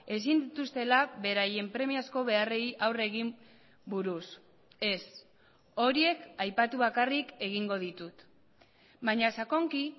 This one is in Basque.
ezin dituztela beraien premiazko beharrei aurre egin buruz ez horiek aipatu bakarrik egingo ditut baina sakonki